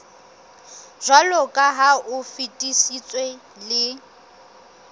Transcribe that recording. jwaloka ha o fetisitswe le